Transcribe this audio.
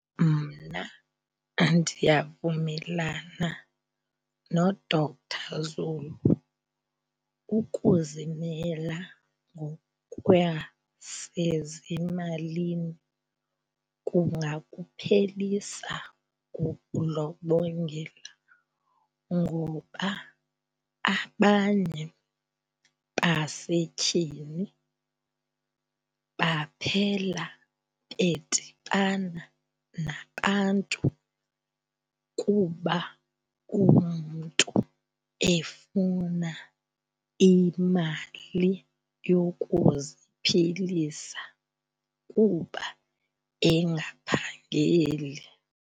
Mna ndiyavumelana noDr Zulu, ukuzimela ngokwasezimalini kungakuphelisa ukudlobongela ngoba abanye basetyhini baphela bedibana nabantu kuba umntu efuna imali yokuziphilisa kuba engaphangeli.